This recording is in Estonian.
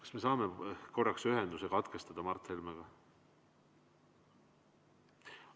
Kas me saame korraks ühenduse katkestada Mart Helmega?